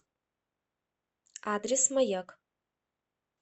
адрес маяк